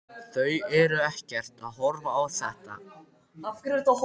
Þau eru ekkert að horfa á þetta?